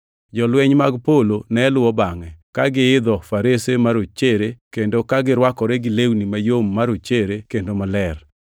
Jolweny mag polo ne luwo bangʼe, ka giidho farese marochere kendo ka girwakore gi lewni mayom marochere kendo maler.